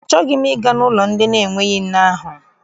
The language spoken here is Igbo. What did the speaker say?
Achọghị m ịga n'ụlọ ndị na-enweghị nne ahụ.